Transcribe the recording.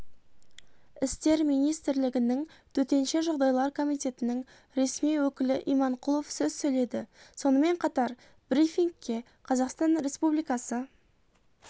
істер министрлігінің төтенше жағдайлар комитетінің ресми өкілі иманқұлов сөз сөйледі сонымен қатар брифингке қазақстан республикасы